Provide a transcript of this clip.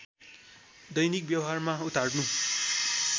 दैनिक व्यवहारमा उतार्नु